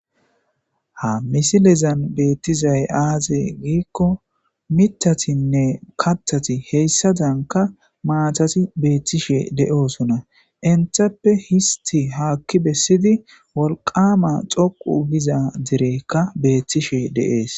Ha misilezan be'etiza aaze giikko, mittatinne kattati haysadanka maatati be'etishe de'oosona. Etappe ista haaki bessidi wolqqama tsoqqu giza derekka be'etishe de'ees.